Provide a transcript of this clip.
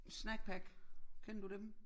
Snackpack kender du dem?